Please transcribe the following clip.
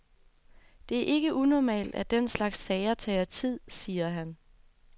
Det er ikke unormalt, at den slags sager tager tid, siger han.